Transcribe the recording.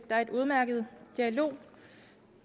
der er en udmærket dialog